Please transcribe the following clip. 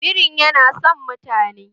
Birin yana son mutane